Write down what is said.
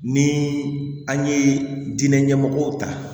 Ni an ye diinɛ ɲɛmɔgɔw ta